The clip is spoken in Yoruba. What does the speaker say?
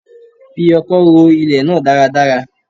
Fi ọkọ́ ro ilẹ̀ náà dáradára